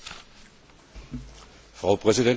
Frau Präsidentin, meine Damen und Herren!